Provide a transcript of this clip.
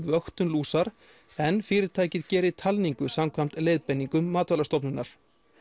vöktun lúsar en fyrirtækið geri talningu samkvæmt leiðbeiningum Matvælastofnunar